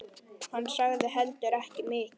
Hann sagði heldur ekki mikið.